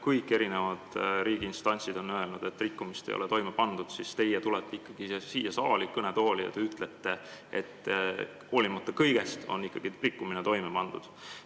Kõik riigiinstantsid on öelnud, et rikkumist ei ole toime pandud, aga teie tulete siia kõnetooli ja ütlete, et hoolimata kõigest on rikkumine ikkagi toime pandud.